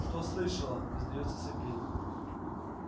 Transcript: что слышала не сдаётся сергей